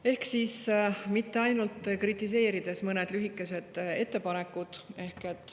Et mitte ainult kritiseerida, siis ka mõned lühikesed ettepanekud.